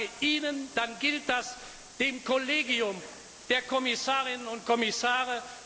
Und wenn ich sage Ihnen, dann gilt das dem Kollegium der Kommissarinnen und Kommissare.